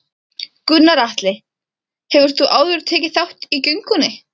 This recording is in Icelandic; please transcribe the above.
Gunnar Atli: Hefur þú áður tekið þátt í göngunni?